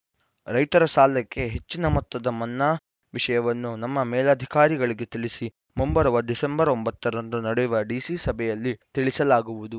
ರೈತರ ಸಾಲಕ್ಕೆ ಹೆಚ್ಚಿನ ಮೊತ್ತದ ಮನ್ನಾ ವಿಷಯವನ್ನು ನಮ್ಮ ಮೇಲಧಿಕಾರಿಗಳಿಗೆ ತಿಳಿಸಿ ಮುಂಬರುವ ಡಿಸೆಂಬರ್ ಒಂಬತ್ತ ರಂದು ನಡೆಯುವ ಡಿಸಿ ಸಭೆಯಲ್ಲಿ ತಿಳಿಸಲಾಗುವುದು